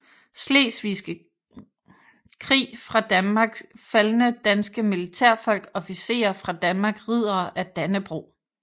Slesvigske Krig fra Danmark Faldne danske militærfolk Officerer fra Danmark Riddere af Dannebrog